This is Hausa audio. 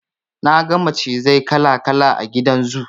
Na ga macizai kala kala a gidan zoo.